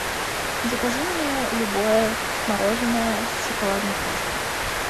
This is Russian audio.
закажи мне любое мороженое с шоколадной крошкой